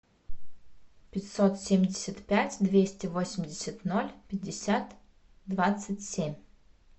пятьсот семьдесят пять двести восемьдесят ноль пятьдесят двадцать семь